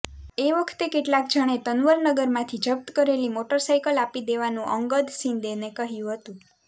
એ વખતે કેટલાક જણે તનવરનગરમાંથી જપ્ત કરેલી મોટરસાઇકલ આપી દેવાનું અંગદ શિંદેને કહ્યું હતું